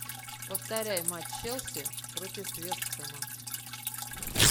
повторяй матч челси против вест хэма